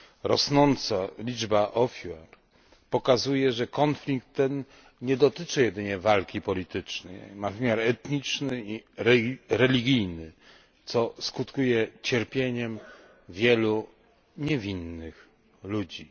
Rosnąca liczba ofiar pokazuje, że konflikt ten nie dotyczy jedynie walki politycznej, ma wymiar etniczny i religijny, co skutkuje cierpieniem wielu niewinnych ludzi.